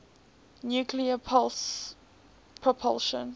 nuclear pulse propulsion